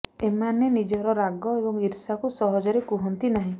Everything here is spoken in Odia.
ଏମାନେ ନିଜର ରାଗ ଏବଂ ଇର୍ଷାକୁ ସହଜରେ କୁହନ୍ତି ନାହିଁ